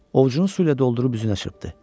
Ovucunu suyla doldurub üzünə çırptı.